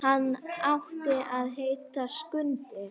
Hann átti að heita Skundi.